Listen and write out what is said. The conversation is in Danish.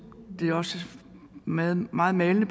det også meget meget malende